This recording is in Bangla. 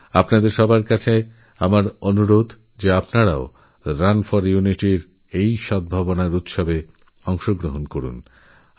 আমার আপনাদের সবার কাছে অনুরোধ আপনারা প্রত্যেকেই রান ফোর ইউনিটি এই সদ্ভাবনাউৎসবে অংশগ্রহণ করুন